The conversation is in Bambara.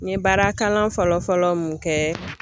N ye baarakalan fɔlɔ fɔlɔ mun kɛ